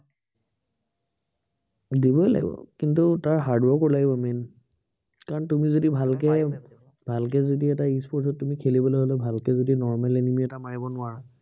দিবই লাগিব। কিন্তু তাৰ hard work ও লাগিব main কাৰন তুমি যদি ভালকে, ভালকে যদি এটা e-sports ত তুমি খেলিবলে হলে ভালকে যদি normal enemy এটা মাৰিব নোৱাৰা